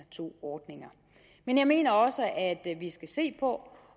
to ordninger men jeg mener også at vi skal se på